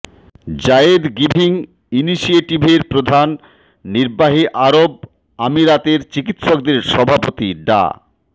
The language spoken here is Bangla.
যায়েদ গিভিং ইনিশিয়েটিভের প্রধান নির্বাহী আরব আমিরাতের চিকিৎসকদের সভাপতি ডা